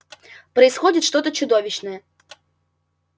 происходит что-то чудовищное